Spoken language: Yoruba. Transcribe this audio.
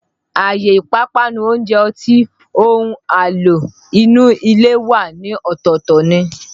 Àyè ìpápánu, oúnjẹ, ọtí, ohun àlò inú ilé wà ní ọ̀tọ̀ọ̀tọ̀ ni